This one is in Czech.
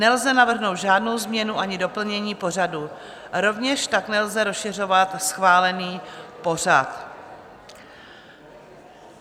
Nelze navrhnout žádnou změnu ani doplnění pořadu, rovněž tak nelze rozšiřovat schválený pořad.